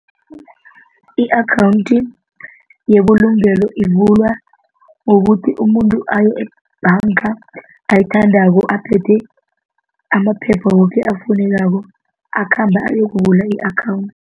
I-akhawundi yebulungelo ivulwa ngokuthi umuntu aye ebhanga ayithandako aphethe amaphepha woke afunekako akhambe ayokuvula i-akhawundi.